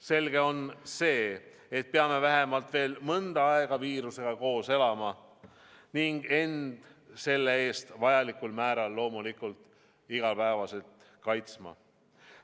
Selge on see, et peame vähemalt veel mõnda aega viirusega koos elama ning end selle eest vajalikul määral loomulikult igapäevaselt kaitsma.